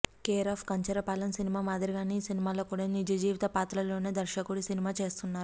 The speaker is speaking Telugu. కేరాఫ్ కంచెర పాలెం సినిమా మాదిరిగానే ఈ సినిమాలో కూడా నిజజీవిత పాత్రలతోనే దర్శకుడు సినిమా చేస్తున్నారు